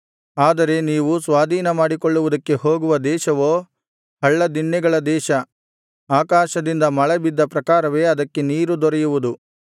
ಆದರೆ ನೀವು ಸ್ವಾಧೀನ ಮಾಡಿಕೊಳ್ಳುವುದಕ್ಕೆ ಹೋಗುವ ದೇಶವೋ ಹಳ್ಳದಿಣ್ಣೆಗಳ ದೇಶ ಆಕಾಶದಿಂದ ಮಳೆಬಿದ್ದ ಪ್ರಕಾರವೇ ಅದಕ್ಕೆ ನೀರು ದೊರೆಯುವುದು